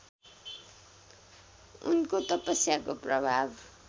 उनको तपस्याको प्रभाव